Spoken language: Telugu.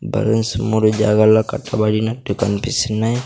మూడు జాగల్లో కట్టబడినట్టు కన్పిస్తున్నాయ్.